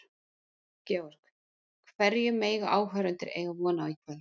Georg, hverju mega áhorfendur eiga von á í kvöld?